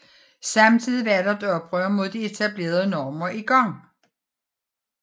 Samtidig var der et oprør mod de etablerede normer i gang